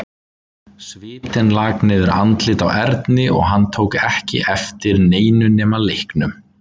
Svitinn lak niður andlitið á Erni og hann tók ekki eftir neinu nema leiknum.